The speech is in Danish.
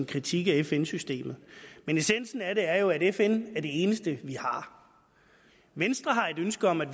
kritik af fn systemet men essensen af det er jo at fn er det eneste vi har venstre har et ønske om at